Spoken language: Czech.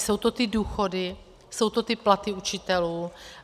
Jsou to ty důchody, jsou to ty platy učitelů.